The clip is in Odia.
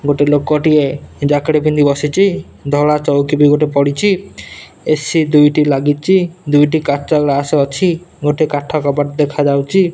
ଗୋଟିଏ ଲୋକ ଟିଏ ଜ୍ୟାକେଟ ପିନ୍ଧି ବସିଚି। ଧଳା ଚୌକି ବି ଗୋଟେ ପଡିଚି ଏ_ସି ଦୁଇଟି ଲାଗିଚି ଦୁଇଟିକାଚ ଗ୍ଲାସ ଅଛି ଗୋଟେ କାଠ କବାଟ ଦେଖା ଯାଉଛି।